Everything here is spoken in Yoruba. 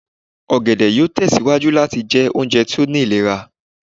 ògèdè yoo tẹsiwaju lati jẹ ounjẹ to ni ilera